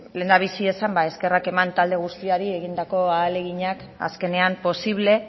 lehendabizi eskerrak eman talde guztiei egindako ahaleginengatik azkenean posible